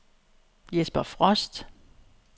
Jesper Frost